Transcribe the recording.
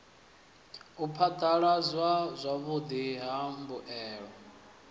u phadaladzwa zwavhudi ha mbuelo